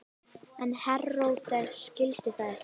En Heródes skildi það ekki.